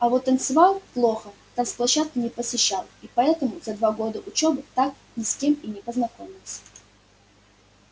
а вот танцевал плохо танц площадки не посещал и поэтому за два года учёбы так ни с кем и не познакомился